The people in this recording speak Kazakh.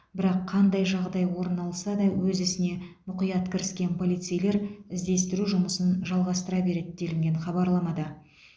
бірақ қандай жағдай орын алса да өз ісіне мұқият кіріскен полицейлер іздестіру жұмысын жалғастыра береді делінген хабарламада